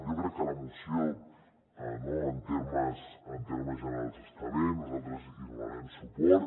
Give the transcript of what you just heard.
jo crec que la moció no en termes generals està bé nosaltres hi donarem suport